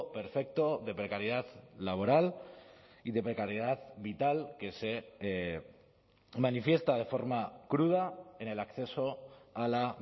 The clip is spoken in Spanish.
perfecto de precariedad laboral y de precariedad vital que se manifiesta de forma cruda en el acceso a la